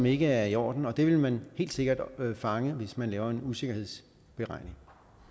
ikke er i orden og det vil man helt sikkert fange hvis man laver en usikkerhedsberegning